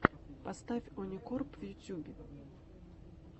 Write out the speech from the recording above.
поставь оникорп в ютубе